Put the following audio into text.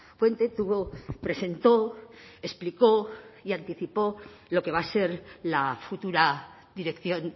fuente tuvo presentó explicó y anticipó lo que va a ser la futura dirección